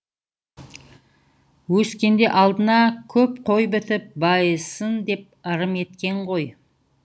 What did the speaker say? өскенде алдына көп қой бітіп байысын деп ырым еткен ғой